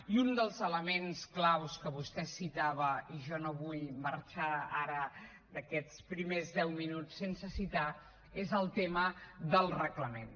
i un dels elements clau que vostè citava i jo no vull marxar ara d’aquests primers deu minuts sense citar lo és el tema del reglament